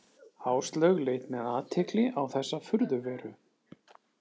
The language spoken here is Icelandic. Áslaug leit með athygli á þessa furðuveru.